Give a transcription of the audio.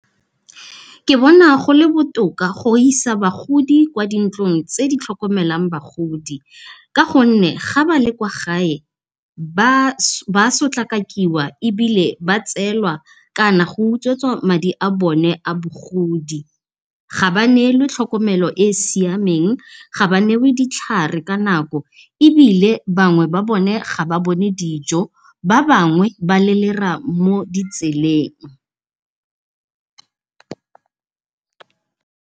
Ke bona gole botoka go isa bagodi kwa di ntlong tse di tlhokomelang bagodi, ka gonne ga ba le kwa gae ba sotlakakiwa ebile ba tselwa kana go utswetswa madi a bone a bogodi. Ga ba nelwe tlhokomelo e e siameng, ga ba nelwe ditlhare ka nako ebile bangwe ba bone ga ba bone dijo, ba babngwe ba lelera mo ditseleng.